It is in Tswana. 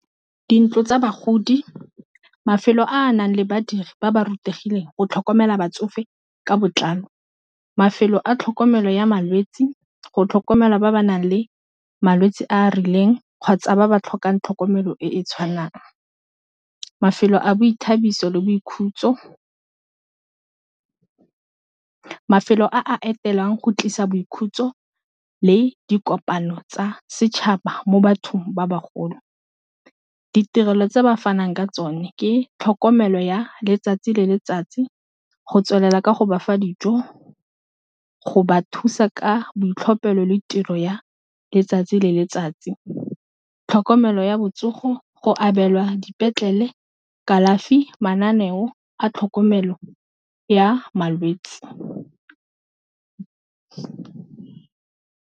Dintlo tsa bagodi mafelo a a nang le badiri ba ba rutegileng go tlhokomela batsofe ka botlalo, mafelo a tlhokomelo ya malwetsi go tlhokomelwa ba ba nang le malwetsi a a rileng kgotsa ba ba tlhokang tlhokomelo e e tshwanang, mafelo a boithabiso le boikhutso mafelo a etelwang go tlisa boikhutso le dikopano tsa setšhaba mo bathong ba bagolo, ditirelo tse ba fanang ka tsone ke tlhokomelo ya letsatsi le letsatsi go tswelela ka go ba fa dijo go ba thusa ka boitlhophelo le tiro ya letsatsi le letsatsi, tlhokomelo ya botsogo go abelwa dipetlele, kalafi, mananeo a tlhokomelo ya malwetsi.